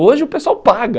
Hoje o pessoal paga.